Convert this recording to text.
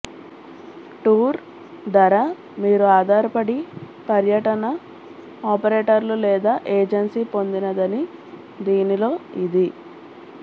tour ధర మీరు ఆధారపడి పర్యటన ఆపరేటర్లు లేదా ఏజెన్సీ పొందినదని దీనిలో ఇది